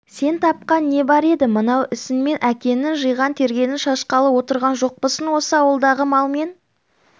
сен тапқан не бар еді мынау ісіңмен әкеңнің жиған-тергенін шашқалы отырған жоқпысың осы ауылдағы мал мен